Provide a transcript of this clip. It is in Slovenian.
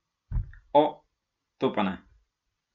O, to pa ne.